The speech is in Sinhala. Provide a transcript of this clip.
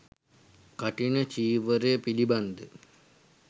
කඨින චීවරය පිළිබඳ